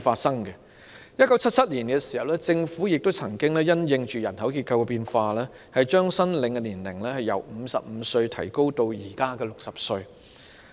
在1977年，政府曾經因應人口結構變化，將申領長者綜援的年齡由55歲提高至現時的60歲。